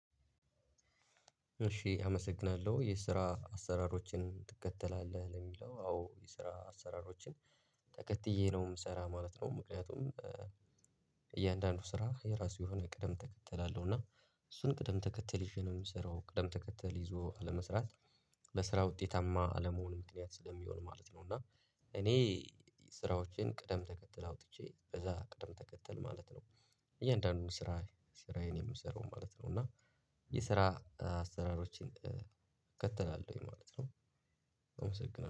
እሺ አመሰግናለሁ የስራ አሰራሮችን ትከተላለህ የሚለው አዎ የስራ አሰራሮችን ተከትዬ ነው የምሰራ ማለት ነው። ምክንያቱም እያንዳንዱ ስራ የራሱ የሆነ ቅደም ተከተል አለው እና እሱን ቅደም ተከተል ይዤ ነው የምሰራው ቅደም ተከተል ይዞ አለመስራት ለስራ ውጤታማ አለመሆኑ ምክንያት ስለሚሆን ማለት ነው እና እኔ ስራዎቼን ቅደም ተከተል አውጥቼ በዛ ቅድም ተከተል ማለት ነው እያንዳንዱን ስራ ስራዬን የምሰራው ማለት ነው። እና የስራ አሰራሮችን እከተላለሁኝ ማለት ነው አመሰግናለሁ።